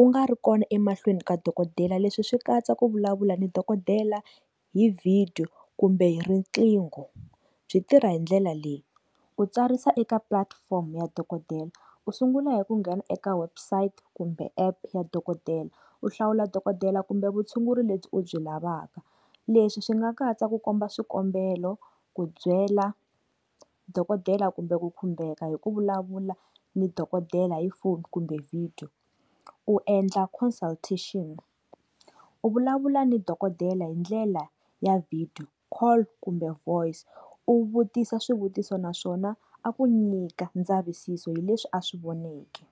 u nga ri kona emahlweni ka dokodela leswi swi katsa ku vulavula ni dokodela hi vhidiyo kumbe hi riqingho byi tirha hindlela leyi, u tsarisa eka platform ya dokodela u sungula hi ku nghena eka website kumbe app ya dokodela u hlawula dokodela kumbe vutshunguri lebyi u byi lavaka leswi swi nga katsa ku komba swikombelo, ku byela dokodela kumbe ku khumbeka hi ku vulavula ni dokodela hi phone kumbe video. Ku endla consultation u vulavula ni dokodela hindlela ya video call kumbe voice u vutisa swivutiso na swona a ku nyika ndzavisiso hileswi a swi voneke.